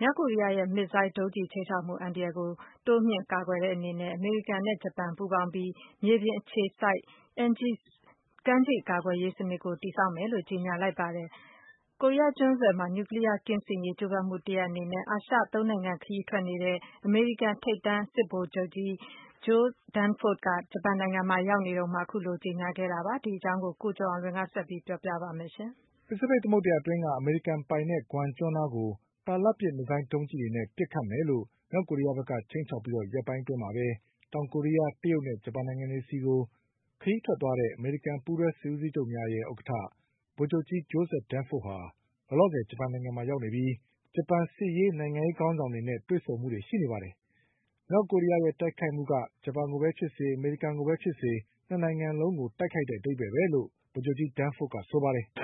မြောက်ကိုရီးယားရဲ့ မစ်ဇိုင်းဒုံးကျည်ခြိမ်းခြောက်မှုအန္တရာယ်ကို တိုးမြှင့်ကာကွယ်တဲ့ အနေနဲ့ အမေရိကန်နဲ့ဂျပန်ပူးပေါင်းပြီး မြေပြင်အခြေစိုက် Aegis ကမ်းခြေ ကာကွယ်ရေးစနစ်ကို တည်ဆောက်မယ်လို့ကြေညာလိုက်ပါတယ်။ ကိုရီးယားကျွန်း ဆွယ်မှာ နျူကလီးယားကင်းစင်ရေး ကြိုးပမ်းမှုတရပ်အနေနဲ့ အာရှသုံးနိုင်ငံ ခရီးထွက်နေတဲ့ အမေရိကန်ထိပ်တန်းစစ်ဗိုလ်ချုပ်ကြီး Joseph Dunford ဂျပန်နိုင်ငံမှာရောက်နေတုန်း အခုလိုကြေညာခဲ့တာပါ။ ဒီအကြောင်း ကိုကျော်အောင်လွင်က ဆက် ပြီးပြောပြပါလိမ့်မယ်။ ဖိစိဖိတ်သမုဒ္ဒရာအတွင်းက အမေရိကန်ပိုင်တဲ့ Guam ကျွန်းနားကို တာလတ်ပစ် မစ်ဇိုင်းဒုံးကျည်တွေနဲ့ ပစ်မယ်လို့ မြောက်ကိုရီးယားက ခြိမ်းခြောက်ပြီး ရက်ပိုင်း အတွင်းမှာပဲ တောင်ကိုရီးယား၊ တရုတ်နဲ့ ဂျပန်နိုင်ငံတွေဆီကို ခရီးထွက် သွားတဲ့ အမေရိကန်ပူးတွဲစစ်ဦးစီးချုပ်များရဲ့ ဥက္ကဌ ဗိုလ်ချုပ်ကြီး Joseph Dunfordဟာ လောလောဆယ်ဂျပန်နိုင်ငံမှာ ရောက်နေပြီး ဂျပန်စစ်ရေး၊ နိုင်ငံရေးခေါင်းဆောင်တွေ နဲ့တွေ့ဆုံမှုတွေ ရှိနေပါတယ်။ မြောက်ကိုရီးယားရဲ့တိုက်ခိုက်မှုက ဂျပန်ကိုပဲဖြစ်စေ၊ အမေရိကန်ကိုပဲဖြစ်စေ ၂နိုင်ငံလုံးကိုတိုက်ခိုက်တဲ့ အဓိပ္ပါယ်ပဲလို့ ဗိုလ်ချုပ်ကြီး Dunford ကပြောပါ တယ်။ "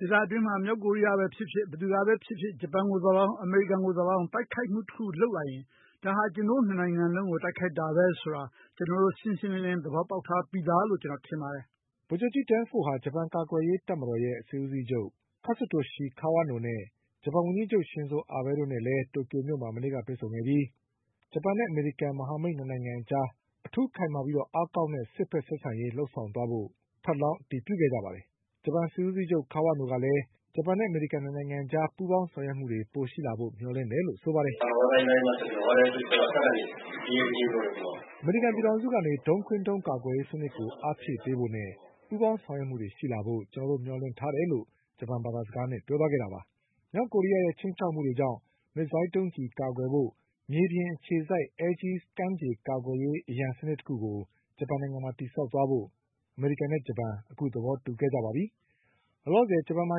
ဒေသတွင်းမှာ မြောက်ကိုရီးယားကပဲဖြစ်ဖြစ် ဘယ်သူကပဲဖြစ်ဖြစ် ဂျပန်ကိုသော်၎င်း၊ အမေရိကန်ကိုသော်၎င်း တိုက် ခိုက်မှုတခုလုပ်လာရင် ဒါဟာ ကျနော်တို့၂နိုင်ငံလုံးကို တိုက်ခိုက်တာပဲဆိုတာ ကျနော်တို့ရှင်းရှင်းလင်းလင်း သဘော ပေါက်ထားပြီးသားလို့ ကျနော်ထင်ပါတယ်" ဗိုလ်ချုပ်ကြီး Dunfordဟာ ဂျပန်ကာကွယ်ရေးတပ်မတော်ရဲ့စစ်ဦးစီးချုပ် Katsutoshi Kawanoနဲ့ ဂျပန်ဝန်ကြီးချုပ် ရှင်ဇို အာဘဲတို့နဲ့ တိုကျိုမြို့မှာ မနေ့ကတွေ့ဆုံခဲ့ပြီး ဂျပန်နဲ့အမေရိကန် မဟာမိတ်၂နိုင်ငံအကြား အထူးခိုင်မာပြီးအား ကောင်းတဲ့ စစ်ဘက်ဆက်ဆံရေးလုပ်ဆောင်သွားကြဖို့ ထပ်လောင်း အတည်ပြုခဲ့ကြပါတယ်။ ဂျပန်စစ်ဦးစီးချုပ် Kawano ကလည်း ဂျပန်အမေရိကန်၂နိုင်ငံအကြား ပူးပေါင်းဆောင်ရွက်မှုတွေပိုရှိလာဖို့မျှော်လင့်တယ်လို့ဆိုပါတယ်။ "အမေရိကန်ပြည်ထောင်စုကနေ ဒုံးခွင်းဒုံးကျည်ကာကွယ်ရေးစနစ်ကို အားဖြည့်ပေးဖို့နဲ့ ပူးပေါင်းဆောင်ရွက်မှုတွေရှိလာဖို့ ကျနော်တို့မျှော်လင့်တယ်လို့ ဂျပန်ဘာသာ စကားနဲ့ပြောသွားခဲ့တာပါ" မြောက်ကိုရီးယားရဲ့ ခြိမ်းခြောက်မှုတွေကြောင့် မစ်ဇိုင်းဒုံးကျည်ကာကွယ်ဖို့ မြေပြင်အခြေစိုက် Aegis ကမ်းခြေကာကွယ် ရေး အရန်စံနစ်တခုကို ဂျပန်နိုင်ငံမှာတည်ဆောက်ဖို့ အမေရိကန်နဲ့ဂျပန်အခုသဘောတူခဲ့ကြပါပြီ။ လောလောဆယ် ဂျပန်မှာ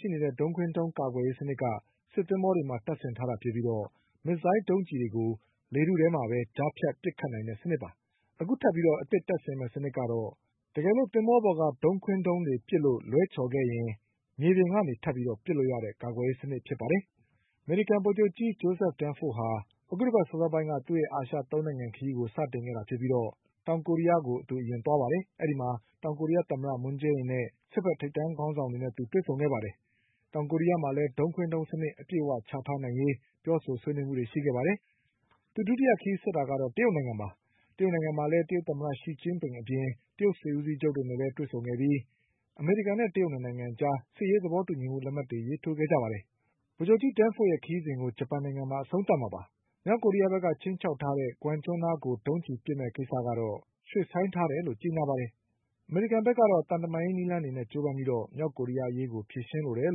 ရှိနေတဲ့ ဒုံးခွင်းဒုံးကာကွယ်ရေးစနစ်က စစ်သင်္ဘောတွေမှာ တတ်ဆင်ထားတာဖြစ်ပြီး မစ်ဇိုင်းဒုံးကျည်တွေကို လေထုထဲမှာပဲ ကြားဖြတ်ပစ်ချနိုင်တဲ့ စံနစ်ပါ။ အခုထပ်ပြီးတက်ဆင်မယ့် စံနစ်ကတော့ အကယ်၍ သင်္ဘောပေါ်က ဒုံးခွင်း ဒုံးတွေ ပစ်လို့ လွဲချော်ခဲ့ရင် မြေပြင်ကနေထပ်ပြီး ပစ်လို့ရတဲ့ ကာကွယ်ရေးစနစ်ပါ။ အမေရိကန် ဗိုလ်ချုပ်ကြီး Joseph Dunfordဟာ အခုတပါတ်စောစောပိုင်းက သူရဲ့အာရှ၃နိုင်ငံခရီးကို စတင်ခဲ့ပြီး တောင် ကိုရီးယားကိုအရင်သွားခဲ့ပါတယ်။ အဲဒီမှာ တောင်ကိုရီးယားသမ္မတ မွန်းဂျေးအင်နဲ့စစ်ဘက်ထိပ်တန်းခေါင်းဆောင်တွေနဲ့ သူတွေ့ဆုံခဲ့ပါတယ်။ တောင်ကိုးရီးယားမှာဒုံးခွင်းဒုံးစနစ်အပြည့်အဝချထားနိုင်ရေးပြောဆိုဆွေးနွေးခဲ့ပါတယ်။ ဒုတိယခရီးဆက်တာကတော့ တရုတ်နိုင်ငံပါ။ တရုတ်နိုင်ငံမှာလည်း တရုတ်သမ္မတ ရှီကျင်းပင်အပြင် တရုတ်စစ်ဦးစီးချုပ် တို့နဲ့လည်းတွေ့ဆုံခဲ့ပြီး အမေရိကန်နဲ့ တရုတ်၂နိုင်အကြား စစ်ရေးသဘောတူညီမှု လက်မှတ်တွေရေးထိုးခဲ့ကြပါတယ်။ ဗိုလ်ချုပ်ကြီး Dunfordရဲ့ ခရီးစဉ်ကို ဂျပန်နိုင်ငံမှာ အဆုံးသတ်မှာဖြစ်ပါတယ်။ မြောက်ကိုရီးယားဘက်က ခြိမ်းခြောက်ထား တဲ့ Guam ကျွန်းနားကို ဒုံးကျည်ပစ်မယ့်ကိစ္စကတော့ ရွှေ့ဆိုင်းထားတယ်လို့ကြေညာပါတယ်။ အမေရိကန်ဘက်ကတော့ သံတမန်ရေးနည်းလမ်းတွေနဲ့ကြိုးပမ်းပြီး မြောက်ကိုရီးယား အရေးကို ဖြေရှင်းလိုတယ်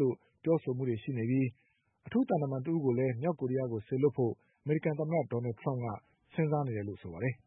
လို့ပြောဆိုမှုတွေရှိနေပြီး အထူးသံ တမန်တဦးကိုလည်း မြောက်ကိုရီးယားကို စေလွှတ်ဖို့ အမေရိကန် သမ္မတဒေါ်နလ်ထရမ့်က စဉ်းစားနေတယ်လို့ ဆိုပါတယ်။